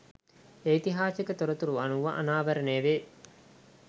ඓතිහාසික තොරතුරු අනුව අනාවරණය වේ.